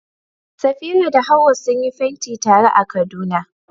Safira da Hawwa sun yi fenti tare a Kaduna.